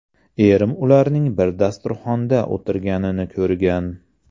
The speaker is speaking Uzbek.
Erim ularning bir dasturxonda o‘tirganini ko‘rgan.